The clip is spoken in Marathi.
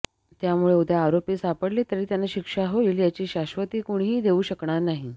त्यामुळे उद्या आरोपी सापडले तरी त्यांना शिक्षा होईल याची शाश्वती कुणीही देऊ शकणार नाही